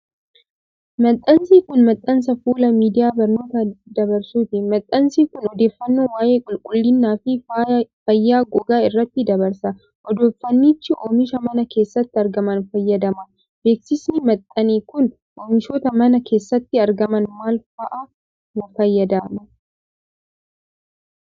Maxxansi kun, maxxansa fuula miidiyaa barnoota dabarsuuti. Maxxansi kun odeeffannoo waa'ee qulqullinaa fi fayyaa gogaa irratti dabarsa. Odeeffannichi oomisha mana keessatti argaman fayyadama. Beeksisni maxxane kun, oomishoota mana keessatti argaman maal faa fayyadama?